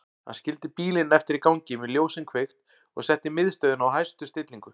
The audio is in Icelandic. Hann skildi bílinn eftir í gangi með ljósin kveikt og setti miðstöðina á hæstu stillingu.